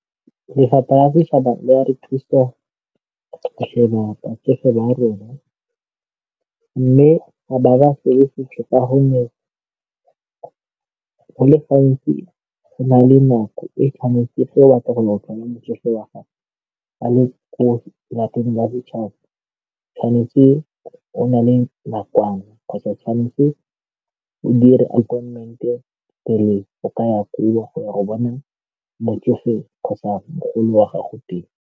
Lefapha la setšhaba le a re thusa lelapa ke fa ba rona mme ga ba bafe le sepe ka gonne go le gantsi go na le nako e tshwanetse fa o batla go wa gagwe a le ko lapeng la setšhaba, tshwanetse o na le nakwana kgotsa tshwanetse o dire pele o ka ya koo go ya go bona motsofe kgotsa mogolo wa gago teng.